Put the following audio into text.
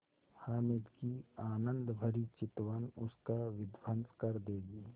हामिद की आनंदभरी चितवन उसका विध्वंस कर देगी